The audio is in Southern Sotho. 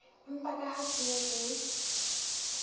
empa ka ha tshenyo ke